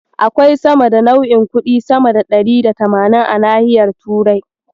Akwai sama da nau'in kuɗi sama da ɗari da tamanin a nahiyar Turai.